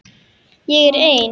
Ég er ein.